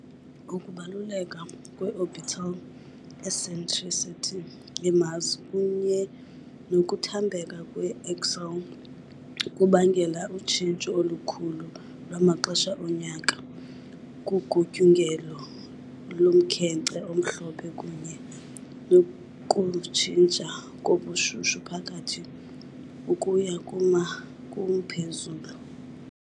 Ukubaluleka kwe -orbital eccentricity ye-Mars kunye nokuthambeka kwe-axial kubangela utshintsho olukhulu lwamaxesha onyaka kugutyungelo lomkhenkce omhlophe kunye nokutshintsha kobushushu phakathi ukuya kuma- kumphezulu.